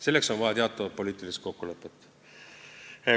Selleks on vaja teatavat poliitilist kokkulepet.